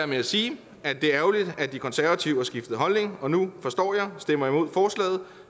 med at sige at det er ærgerligt at de konservative har skiftet holdning og nu forstår jeg stemmer imod forslaget